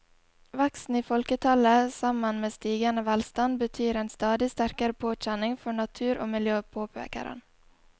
Veksten i folketallet sammen med stigende velstand betyr en stadig sterkere påkjenning for natur og miljø, påpeker han.